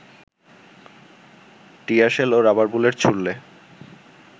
tear shell ও rubber bullet ছুড়লে